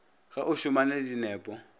ge o šomane le dinepo